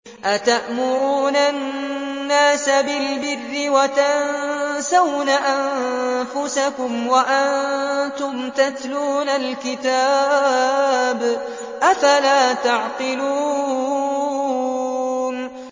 ۞ أَتَأْمُرُونَ النَّاسَ بِالْبِرِّ وَتَنسَوْنَ أَنفُسَكُمْ وَأَنتُمْ تَتْلُونَ الْكِتَابَ ۚ أَفَلَا تَعْقِلُونَ